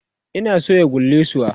Ina soya kullisuwa